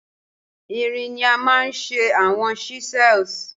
Irin ni a maa n ṣe awọn chisels